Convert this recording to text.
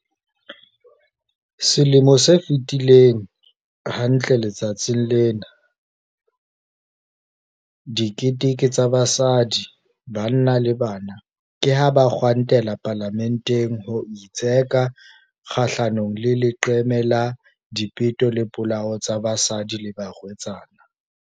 Selemo se fetileng, hantle letsatsing lena, diketekete tsa basadi, banna le bana ke ha ba kgwantela Palamenteng ho itseka kgahlanongle leqeme la dipeto le dipolao tsa basadi le barwetsana.